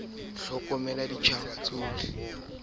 ha ba ne ba nyalana